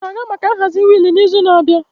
M ga-aga maka nhazi wheel n'izu na-abịa.